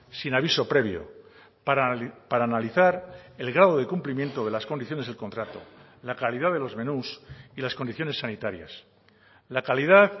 sin aviso previo para analizar el grado de cumplimiento de las condiciones del contrato la calidad de los menús y las condiciones sanitarias la calidad